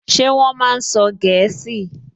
Ṣé wọ́n máa sọ gẹ̀ẹ́sì?